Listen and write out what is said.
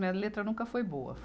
Minha letra nunca foi boa.